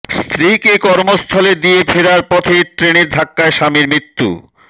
স্ত্রীকে কর্মস্থলে দিয়ে ফেরার পথে ট্রেনের ধাক্কায় স্বামীর মৃত্যু